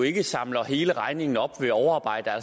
ikke samler hele regningen op ved overarbejde